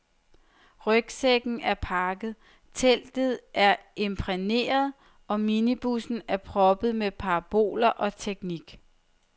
Rygsækken er pakket, teltet er imprægneret og minibussen er proppet med paraboler og teknik.